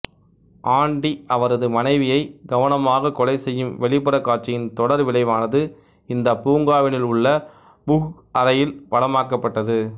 aunty அவரது மனைவியை கவனமாகக் கொலைசெய்யும் வெளிப்புறக் காட்சியின் தொடர் விளைவானது இந்தப் பூங்காவினுள் உள்ள புஹ் அறையில் படமாக்கப்பட்டது